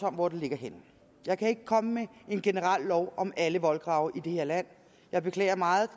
om hvor den ligger så jeg kan ikke komme med en generel lov om alle voldgrave i det her land jeg beklager meget